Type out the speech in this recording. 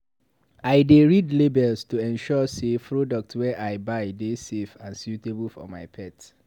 I dey read labels to ensure sey products wey I buy dey safe and suitable for my pet.